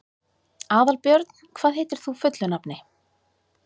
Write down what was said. Aðalbjörn, hvað heitir þú fullu nafni?